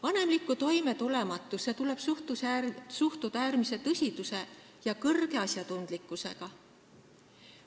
Vanemlikku toimetulematusse tuleb suhtuda äärmise tõsiduse ja suure asjatundlikkusega.